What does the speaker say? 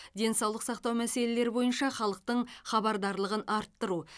денсаулық сақтау мәселелері бойынша халықтың хабардарлығын арттыру